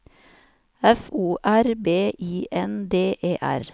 F O R B I N D E R